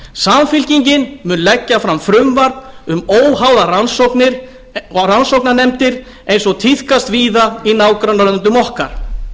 samfylkingin mun leggja fram frumvarp um óháðar rannsóknir og rannsóknarnefndir eins og tíðkast víða í nágrannalöndum okkar